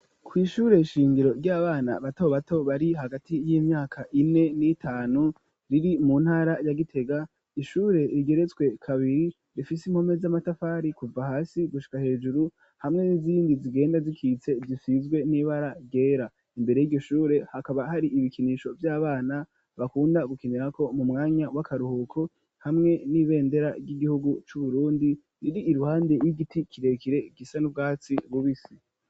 Kw'ishure shingiro ry'abana batobato bari hagati y'imyaka ine n'itanu riri mu ntara ya Gitega, ishure rigeretswe kabiri rifise impome z'amatafari kuva hasi gushika hejuru hamwe n'izindi zigenda zikitse zisizwe n'ibara ryera. Imbere y'iryo shure hakaba hari ibikinisho vy'abana bakunda gukinirako mu mwanya w'akaruhuko, hamwe n'ibendera ry'igihugu c'Uburundi riri iruhande y'igiti kirekire gisa n'urwatsi rubisi.